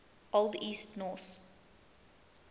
old east norse